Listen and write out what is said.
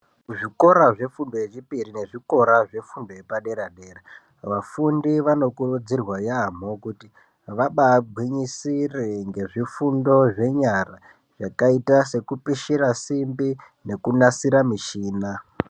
Zvikora zvefundo yechipiri nezvikora zvefundo yepadera dera vafundi vanokurudzirwa yamho kuti vabaa gwinyisire ngezvifundo zvenyara zvakaita sekupishira simbi nekunasira mushina..